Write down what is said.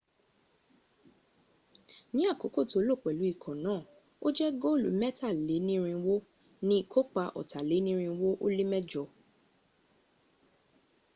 ní àkókò tó lò pẹ̀lú ikọ̀ náà ó jẹ góòlù mẹ́tàlénírinwó ní ìkópa ọ̀tàlénírinwó ó lé mẹjọ